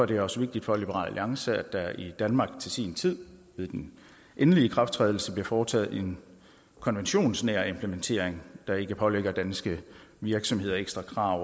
det også vigtigt for liberal alliance at der i danmark til sin tid ved den endelige ikrafttrædelse bliver foretaget en konventionsnær implementering der ikke pålægger danske virksomheder ekstra krav